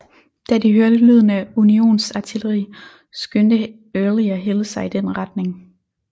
Da de hørte lyden af unionsartilleri skyndte Early og Hill sig i den retning